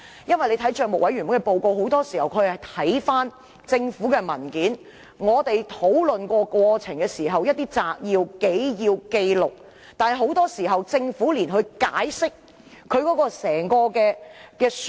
帳委會的報告很多時候都會提及政府文件和帳委會討論過程的摘要、紀要、紀錄，但政府往往沒有足夠時間解釋。